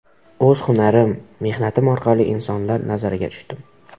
O‘z hunarim, mehnatim orqali insonlar nazariga tushdim.